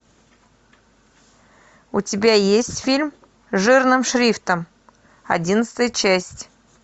у тебя есть фильм жирным шрифтом одиннадцатая часть